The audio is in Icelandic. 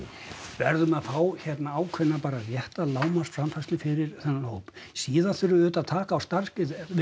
verðum að fá hérna ákveðna rétta lágmarksframfærslu fyrir þennan hóp síðan þurfum við auðvitað að taka á starfsgetu við